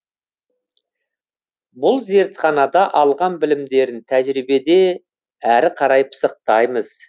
бұл зертханада алған білімдерін тәжірибеде әрі қарай пысықтаймыз